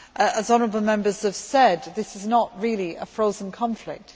As honourable Members have said, this is not really a frozen conflict